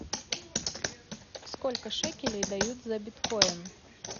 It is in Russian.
сколько шекелей дают за биткоин